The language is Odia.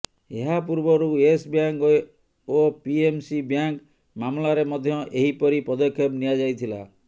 ଏହା ପୂର୍ବରୁ ୟସ୍ ବ୍ୟାଙ୍କ ଓ ପିଏମସି ବ୍ୟାଙ୍କ ମାମଲାରେ ମଧ୍ୟ ଏହି ପରି ପଦକ୍ଷେପ ନିଆଯାଇଥିଲା